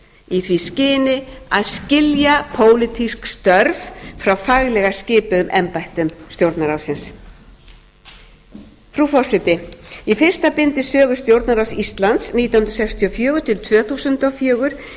í því skyni að skilja pólitísk störf frá faglega skipuðum embættum stjórnarráðsins frú forseti í fyrsta bindi sögu stjórnarráðs íslands nítján hundruð sextíu og fjögur til tvö þúsund og fjögur